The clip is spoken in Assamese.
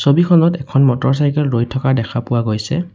ছবিখনত এখন মটৰচাইকেল ৰৈ থকা দেখা পোৱা গৈছে।